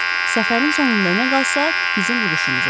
Səfərin sonunda nə qalsa, bizim uduşumuz olacaq.